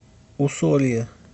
усолье